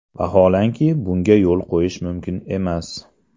Vaholanki, bunga yo‘l qo‘yish mumkin emas.